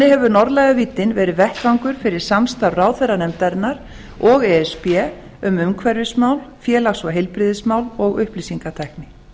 hefur norðlæga víddin verið vettvangur fyrir samstarf ráðherranefndarinnar og e s b um umhverfismál félags og heilbrigðismál og upplýsingatækni